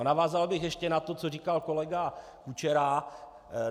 A navázal bych ještě na to, co říkal kolega Kučera.